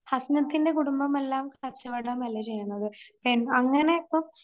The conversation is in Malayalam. ഹസ്നത്തിൻറെ കുടുംബം എല്ലാം കച്ചവടമല്ലെ ചെയ്യണത്.എൻ അങ്ങനെ ഇപ്പം